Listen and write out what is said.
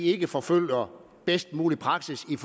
ikke forfølger bedst mulig praksis i